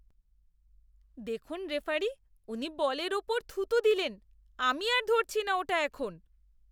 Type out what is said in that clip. দেখুন রেফারি, উনি বলের ওপর থুথু দিলেন। আমি আর ধরছি না ওটা এখন!